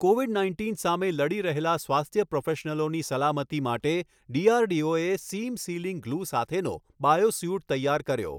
Covid nineteen સામે લડી રહેલા સ્વાસ્થ્ય પ્રોફેશનલોની સલામતી માટે ડીઆરડીઓએ સીમ સીલિંગ ગ્લૂ સાથેનો બાયો સ્યૂટ તૈયાર કર્યો